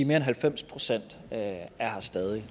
mere end halvfems procent stadig